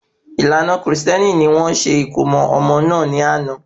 Ìlànà Kristẹni ni wọ́n ṣe ìkómo ọmọ náà ni ana